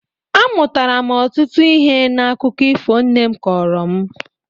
Amụtara m ọtụtụ ihe n’akụkọ ifo nne m kọrọ m